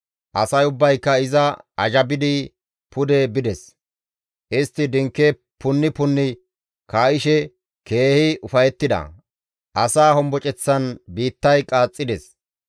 Asay ubbayka iza azhabidi pude bides; istti dinke punni punni kaa7ishe keehi ufayettida; asaa homboceththan biittay qaaxxides.